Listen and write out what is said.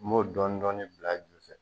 M'o dɔni dɔni bila a ju fɛ.